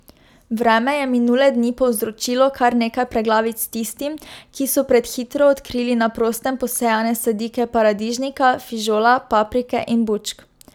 Vreme je minule dni povzročilo kar nekaj preglavic tistim, ki so prehitro odkrili na prostem posejane sadike paradižnika, fižola, paprike in bučk.